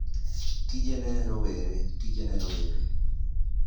Tije ne Rowere: Tije ne rowere.